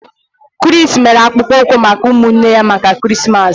Chris mere akpụkpọ ụkwụ maka ụmụnne ya maka Krismas.